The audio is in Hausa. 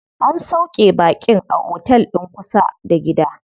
An sauƙe baƙin a otel din kusa da gida.